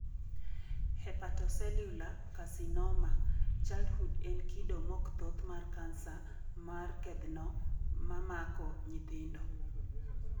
Hepatocellular carcinoma, childhood en kido mok thoth mar kansa mar kedhno mamako nyithindo